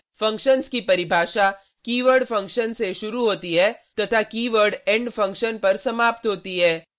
functions की परिभाषा keyword function से शुरू होती है तथा कीवर्ड end फंक्शन पर समाप्त होती है